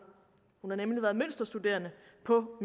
hun har nemlig været mønsterstuderende på